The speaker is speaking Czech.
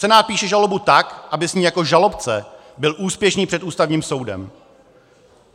Senát píše žalobu tak, aby s ní jako žalobce byl úspěšný před Ústavním soudem.